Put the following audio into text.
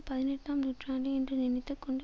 பதினெட்டாம் நூற்றாண்டு என்று நினைத்து கொண்டு